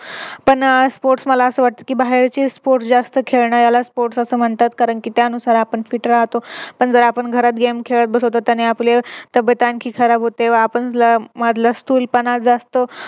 अं पण Sports मला असं वाटत कि बाहेरचेच Sports जास्त खेळण्याला Sports असं म्हणतात कारण कि त्यानुसार आपण Fit राहतो. अह पण जर आपण घरात Game खेळत बसलो तर त्यांने आपली तबियत आणखी खराब होते व आपण आपला स्थूलपणा जास्त